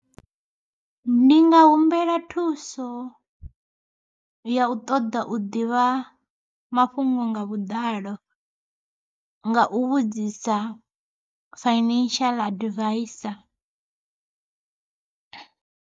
Ndi nga humbela thuso ya u ṱoḓa u ḓivha mafhungo nga vhuḓalo, nga u vhudzisa financial advisor.